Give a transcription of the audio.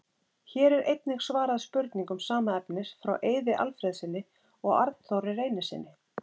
Hér er einnig svarað spurningum sama efnis frá Eiði Alfreðssyni og Arnþóri Reynissyni.